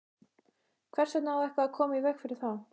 Hvers vegna á eitthvað að koma í veg fyrir það?